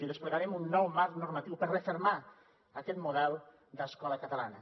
i desplegarem un nou marc normatiu per refermar aquest model d’escola catalana